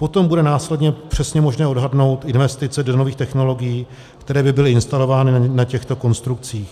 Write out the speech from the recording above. Potom bude následně přesně možné odhadnout investice do nových technologií, které by byly instalovány na těchto konstrukcích.